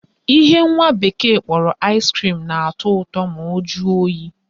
Ihe nwa bekee kpọrọ ice cream na-atọ ụtọ ma o jụọ oyi